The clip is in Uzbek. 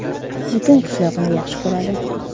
Butun qishloq uni yaxshi ko‘radi”.